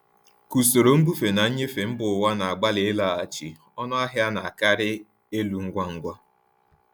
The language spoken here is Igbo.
Ka usoro mbufe na nnyefe mba ụwa na-agbalị ịlaghachi, ọnụ ahịa na-akarị elu ngwa ngwa.